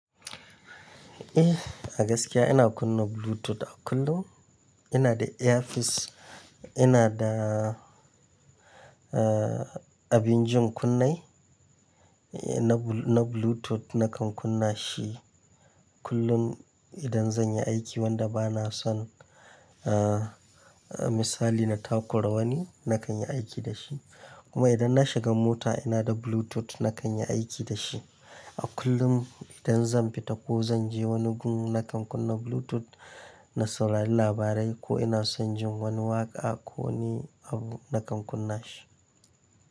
Eh, a gaskiya ina kunna Bluetooth a kullum. Ina da earpeace, ina da, uh, abin jin kunne na Bluetooth, na kan kunna shi kullum idan zan yi aiki wanda ba na son, uh, misali na takura wani, na kan yi aiki da shi. Kuma idan na shiga mota ina da Bluetooth na kan yi aiki da shi. A kullum idan zan fita ko zan je wani gun na kan kunna Bluetooth na saurari labarai ko ina son jin wani waƙa ko wani abu na kan kunna shi.